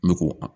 Ne ko a